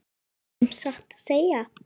Ertu sem sagt að segja.